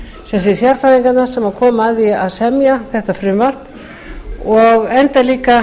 sem sé sérfræðinganna sem komu að því að semja þetta frumvarp og enda líka